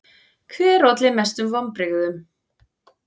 Hver olli mestum vonbrigðum?